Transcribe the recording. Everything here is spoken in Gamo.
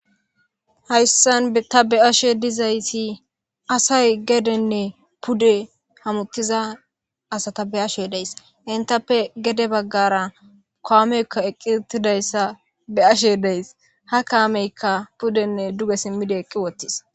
hayssan ta be'ashe dizaysi asay gedenne pude hamuttiza asa tabe ashe deys intappe gede baggara koameykka eqqitidayssa be ashe deys ha kaameykka pudenne duge simmide eqi wottis